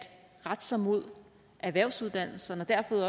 rette sig mod erhvervsuddannelserne